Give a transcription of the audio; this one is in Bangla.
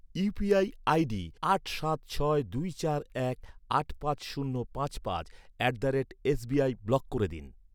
ইউপিআই আইডি আট সাত ছয় দুই চার এক আট পাঁচ শূন্য পাঁচ পাঁচ at the rate S B I block করে দিন।